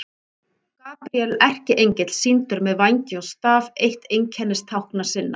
Gabríel erkiengill sýndur með vængi og staf, eitt einkennistákna sinna.